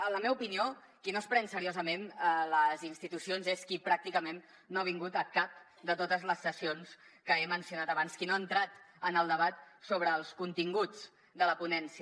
en la meva opinió qui no es pren seriosament les institucions és qui pràcticament no ha vingut a cap de totes les sessions que he mencionat abans qui no ha entrat en el debat sobre els continguts de la ponència